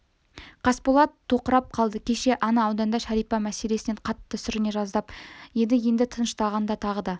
қасболат тоқырап қалды кеше ана ауданда шәрипа мәселесінен қатты сүріне жаздап еді енді тынышталғанда тағы да